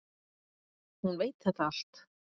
Hún veit þetta allt.